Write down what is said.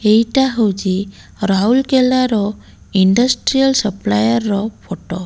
ଏଇଟା ହଉଛି ରାଉଲକେଲା ର ଇଣ୍ଡଷ୍ଟ୍ରିଆଲ ସପ୍ଲାୟର ର ଫଟୋ ।